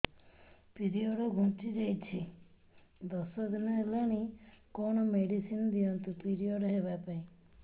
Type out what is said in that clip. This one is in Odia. ପିରିଅଡ଼ ଘୁଞ୍ଚି ଯାଇଛି ଦଶ ଦିନ ହେଲାଣି କଅଣ ମେଡିସିନ ଦିଅନ୍ତୁ ପିରିଅଡ଼ ହଵା ପାଈଁ